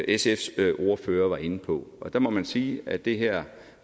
sfs ordfører var inde på og der må man sige at det her